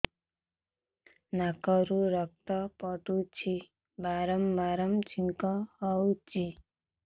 ନାକରୁ ରକ୍ତ ପଡୁଛି ବାରମ୍ବାର ଛିଙ୍କ ହଉଚି